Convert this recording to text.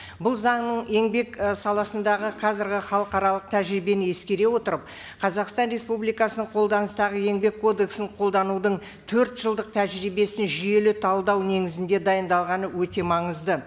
бұл заңның еңбек і саласындағы қазіргі халықаралық тәжірибені ескере отырып қазақстан республикасының қолданыстағы еңбек кодексін қолданудың төрт жылдық тәжірибесін жүйелі талдау негізінде дайындалғаны өте маңызды